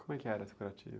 Como é que era esse curativo?